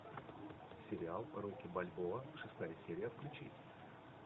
сериал рокки бальбоа шестая серия включи